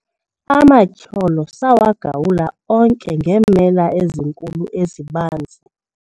amatyholo sawagawula onke ngeemela ezinkulu ezibanzi